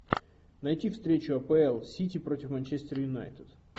найти встречу апл сити против манчестер юнайтед